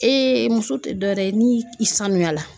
Ee muso tɛ dɔ wɛrɛ ye ni i sanuya la.